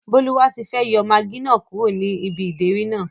Bólúwatifẹ́ yọ magí náà kúrò ní ibi ìdérí náà